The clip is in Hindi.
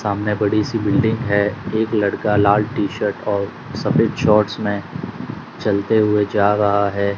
सामने बड़ी सी बिल्डिंग है एक लड़का लाल टी शर्ट और सफेद शॉट्स में चलते हुए जा रहा है।